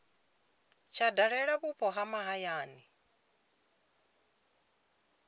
tsha dalela vhupo ha mahayani